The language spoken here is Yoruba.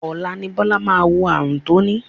Ọ̀la ni Bọ́lá máa mọ ààrùn tó ní